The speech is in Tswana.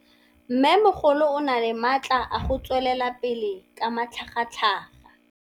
Mmêmogolo o na le matla a go tswelela pele ka matlhagatlhaga.